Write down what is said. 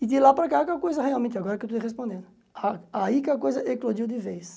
E de lá para cá é que a coisa realmente, agora que eu estou te respondendo, aí que a coisa eclodiu de vez.